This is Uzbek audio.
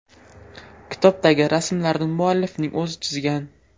Kitobdagi rasmlarni muallifning o‘zi chizgan.